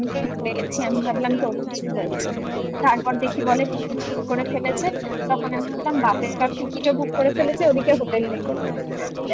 আমি তো ভুলে গেছি আমি ভাবলাম তোর কিছু হয়েছে তারপর দেখি বলে ticket book করে ফেলেছে তখন আমি ভাবলাম বাপরে বাপ ticket ও book করে ফেলেছে ওদিকে hotel নেই আমাদের